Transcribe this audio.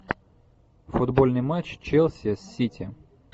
футбольный матч челси с сити